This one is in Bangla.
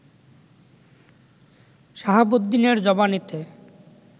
শাহাবুদ্দিনের জবানিতে